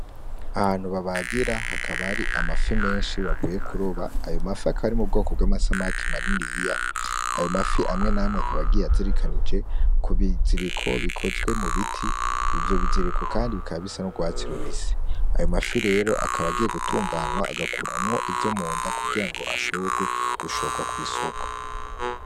Ahantu babagira hakaba hari amafi menshi bavuye kuroba. Ayo mafi akaba ari mu bwoko bw'amasamaki maniniya. Ayo mafi amwe n'amwe akaba agiye azirikanije ku biziriko bikozwe mu biti. Ivyo biziriko kandi bikaba bisa n'urwatsi rubisi. Ayo mafi rero akaba agiye gutunganwa, agakuramwo ivyo munda kugira ngo ashoborwe gushorwa ku isoko